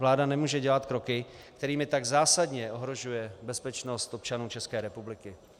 Vláda nemůže dělat kroky, kterými tak zásadně ohrožuje bezpečnost občanů České republiky.